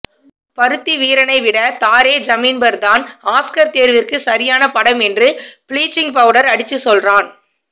பருத்திவீரனை விட தாரே ஜமின் பர் தான் ஆஸ்கர் தேர்விற்கு சரியான படம் என்று ப்ளிச்சிங் பவுடர் அடிச்சு சொல்றான்